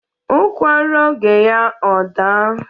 ụkwa rụọ oge ya ọ daa